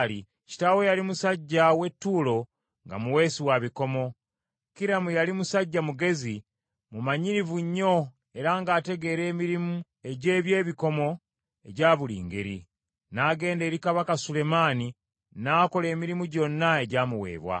Kitaawe yali musajja w’e Ttuulo nga muweesi wa bikomo. Kiramu yali musajja mugezi, mumanyirivu nnyo era ng’ategeera emirimu egy’ebyebikomo egya buli ngeri. N’agenda eri Kabaka Sulemaani, n’akola emirimu gyonna egya muweebwa.